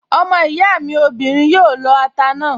Ọmọ ìyá mi obìnrin yóò lọ ata náà